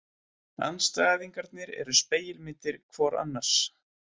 Andstæðingarnir eru spegilmyndir hvor annars.